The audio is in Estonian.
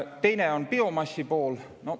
Teine on biomassi pool.